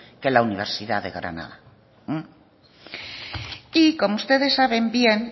que la universidad de granada y como ustedes saben bien